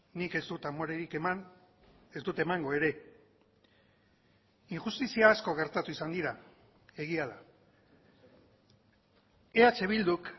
nik ez dut amorerik eman ez dut emango ere injustizia asko gertatu izan dira egia da eh bilduk